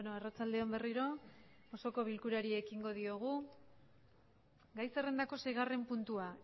arratsalde on gai zerrendako seigarren puntua